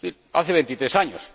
hace 23 años